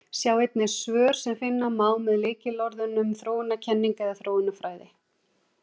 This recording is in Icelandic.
Sjá einnig svör sem finna má með lykilorðunum þróunarkenning eða þróunarfræði.